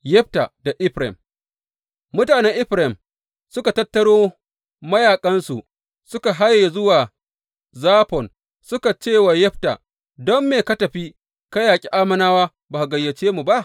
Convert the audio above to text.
Yefta da Efraim Mutanen Efraim suka tattaro mayaƙansu, suka haye zuwa Zafon suka cewa Yefta, Don me ka tafi ka yaƙi Ammonawa ba ka gayyace mu ba?